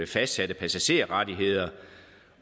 fastsatte passagerrettigheder